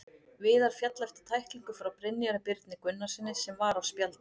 Viðar féll eftir tæklingu frá Brynjari Birni Gunnarssyni sem var á spjaldi.